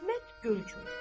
Əhməd Görgür.